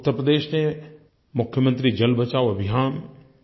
उत्तर प्रदेश से मुख्यमंत्री जल बचाओ अभियान